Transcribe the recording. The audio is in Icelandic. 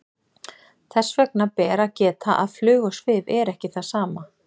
Þess ber að geta að flug og svif er ekki það sama.